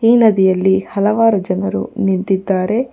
ಈ ನದಿಯಲ್ಲಿ ಹಲವಾರು ಜನರು ನಿಂತಿದ್ದಾರೆ.